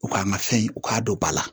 U ka n ka fɛn u k'a don ba la